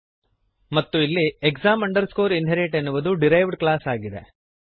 ಮತ್ತು ಇಲ್ಲಿ exam inherit ಎನ್ನುವುದು ಡಿರೈವ್ಡ್ ಕ್ಲಾಸ್ ಆಗಿದೆ